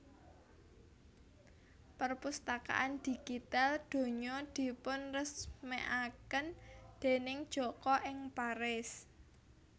Perpustakaan Digital Donya dipunresmèkaken déning Joko ing Paris